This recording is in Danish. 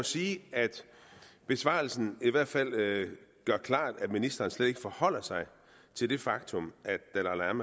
sige at besvarelsen i hvert fald gør klart at ministeren slet ikke forholder sig til det faktum